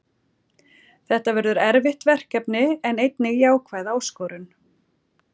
Þetta verður erfitt verkefni en einnig jákvæð áskorun.